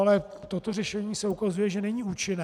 Ale toto řešení se ukazuje, že není účinné.